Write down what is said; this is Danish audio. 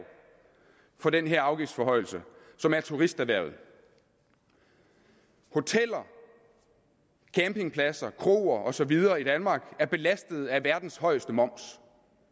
for den her afgiftsforhøjelse som er turisterhvervet hoteller campingpladser kroer og så videre i danmark er belastet af verdens højeste moms